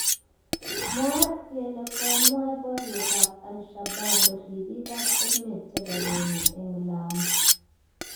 Mwaat kele komwee borietab Al-Shabaab ribiikab emet chebo Kenya eng Lamu